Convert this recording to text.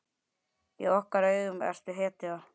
Í okkar augum ertu hetja.